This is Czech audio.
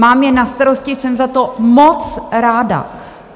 Mám je na starosti, jsem za to moc ráda.